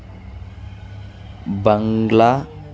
బంగ్లా .